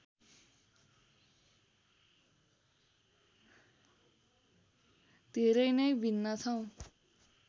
धेरै नै भिन्न छौँ